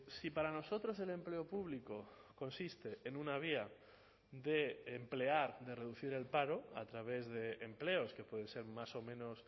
si para nosotros el empleo público consiste en una vía de emplear de reducir el paro a través de empleos que pueden ser más o menos